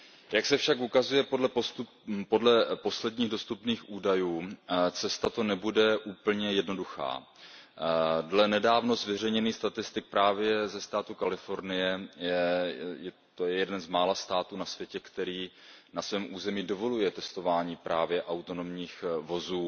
Jak se však ukazuje podle posledních dostupných údajů, cesta to nebude úplně jednoduchá. Dle nedávno zveřejněných statistik právě ze státu Kalifornie to je jeden z mála států na světě, který na svém území dovoluje testování právě autonomních vozů